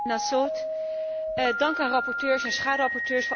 Dank aan rapporteurs en schaduwrapporteurs voor al het harde werk.